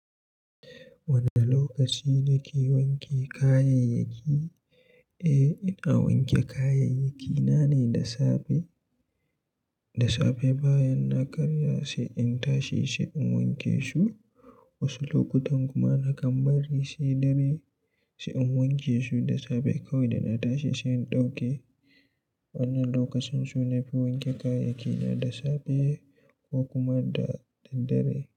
Wane lokaci nake wanke kayayyaki? Eh, ina wanke kayayyakina ne da safe, da safe bayan na karya sai in tashi sai in wanke su. Wasu lokutan kuma nakan bari sai dare, sai in wanke su da safe kawai da na tashi sai in ɗauke. Wannan lokacin su na fi wanke kayayyaki na da safe ko kuma da, da dare.